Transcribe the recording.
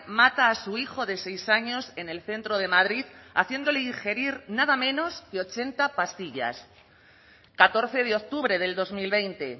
mata a su hijo de seis años en el centro de madrid haciéndole ingerir nada menos que ochenta pastillas catorce de octubre del dos mil veinte